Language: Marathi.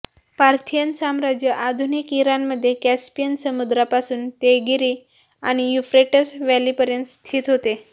पार्थियन साम्राज्य आधुनिक ईरानमध्ये कॅस्पियन समुद्रापासून तेगिरी आणि युफ्रेट्स व्हॅलीपर्यंत स्थित होते